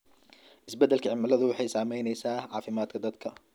Isbeddelka cimiladu waxay saamaysaa caafimaadka dadka.